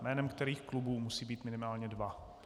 Jménem kterých klubů, musí být minimálně dva.